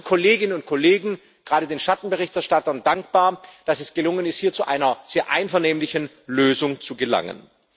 Ich bin allen Kolleginnen und Kollegen, gerade den Schattenberichterstattern, dankbar, dass es gelungen ist, hier zu einer sehr einvernehmlichen Lösung zu gelangen.